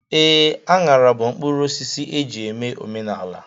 Ee, aṅara bụ mkpụrụosisi e ji eme omenala.